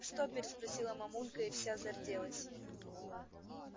что переспросила мамулька и вся зарделась